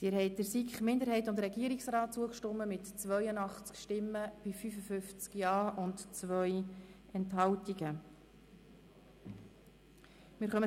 Sie haben den Antrag der SiK-Mehrheit mit 55 Ja- gegen 82 Nein-Stimmen bei 2 Enthaltungen abgelehnt.